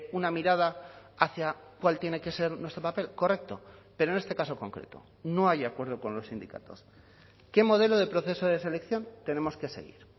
una mirada hacia cuál tiene que ser nuestro papel correcto pero en este caso concreto no hay acuerdo con los sindicatos qué modelo de proceso de selección tenemos que seguir